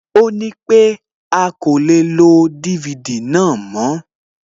Ó nípé a kò lè lo DVD náà mòó